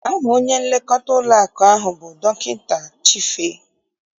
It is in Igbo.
Aha onye nlekọta ụlọakụ ahụ bụ Dọkịta Chife.